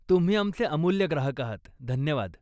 तुम्ही आमचे अमुल्य ग्राहक आहात, धन्यवाद.